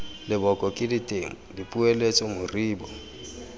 leboko ke ditema dipoeletso moribo